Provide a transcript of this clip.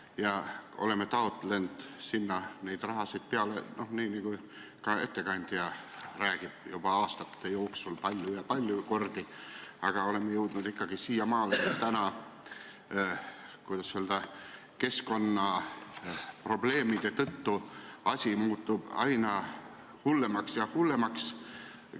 Me oleme taotlenud sinna raha, nii nagu ka ettekandja rääkis, aastate jooksul palju ja palju kordi, aga oleme ikka jõudnud selleni, et keskkonnaprobleemide tõttu muutub asi aina hullemaks ja hullemaks.